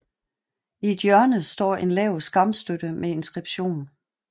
I et hjørne står en lav skamstøtte med inskription